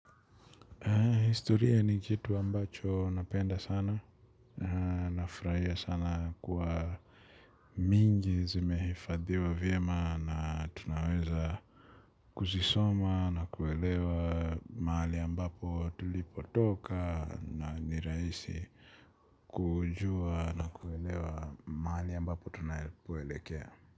Historia ni kitu ambacho napenda sana, nafurahia sana kuwa mingi zimehifadhiwa vyema na tunaweza kuzisoma na kuelewa mahali ambapo tulipotoka na nirahisi kujua na kuelewa mahali ambapo tunapoelekea.